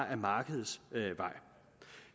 ad markedets vej